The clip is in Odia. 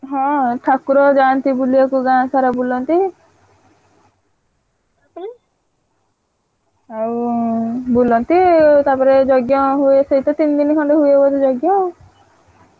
ହଁ ଠାକୁର ଯାଆନ୍ତି ବୁଲିଆକୁ ଗାଁ ସାରା ବୁଲନ୍ତି। ଆଉ ଉଁ ବୁଲନ୍ତି। ତାପରେ ଯଜ୍ଞ ହୁଏ ସେଇ ତ ତିନିଦିନି ଖଣ୍ଡେ ହୁଏ ବୋଧେ ଯଜ୍ଞ।